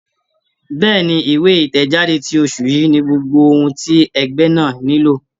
Bẹ́ẹ̀ni, ìwé ìtẹ̀jáde ti oṣù yìí ni gbogbo ohun ti ẹgbẹ́ náà nílò.